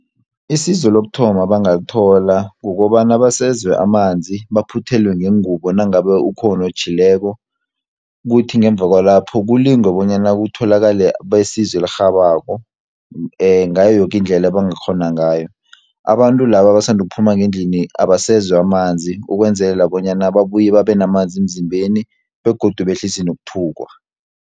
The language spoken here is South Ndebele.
Isizo lokuthoma abangalithola kukobana basezwe amanzi, baphuthelwe ngengubo nangabe ukhona otjhileko, kuthi ngemva kwalapho kulingwe bonyana kutholakale besizo elirhabako, ngayo yokindlela ebangakghona ngayo. Abantu laba abasanda ukuphuma ngendlini, abasezwe amanzi ukwenzelela bonyana babuye babenamanzi emzimbeni, begodu behlise nokuthukwa.